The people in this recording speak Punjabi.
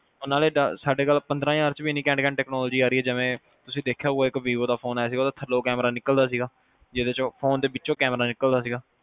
ਸਾਡੇ ਕੋਲ ਪੰਦਰਾਂ ਹਜਾਰ ਚ ਵੀ ਇਹਨੀ ਘੈਂਟ ਘੈਂਟ ਟੈਚਨੋਲੋਜੀ ਆ ਰਹੀ ਆ ਤੁਸੀਂ ਦੇਖਿਆ ਹੋਊਗਾ ਇਕ ਵੀਵੋ ਦਾ ਫੋਨ ਆਇਆ ਸੀ ਜਿਹਦਾ ਥਲਯੋ ਕੈਮਰਾ ਨਿਕਲਦਾ ਸੀ ਗਾ ਜਿਹਦੇ ਚੋ ਫੋਨ ਦੇ ਪਿਛਏਓ ਕੈਮਰਾ ਨਿਕਲਦਾ ਸੀ